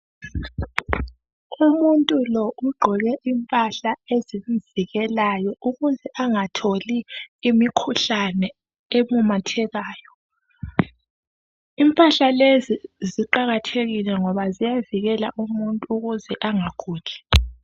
Umuntu lo ugqqoke impahla ezimvikelayo ukuze angatholi imkhuhlane ememethekayo. Impahla lezi ziqakathekile ngoba ziyavikela umuntu ukuze angaguli.